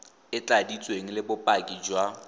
e tladitsweng le bopaki jwa